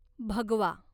भगवा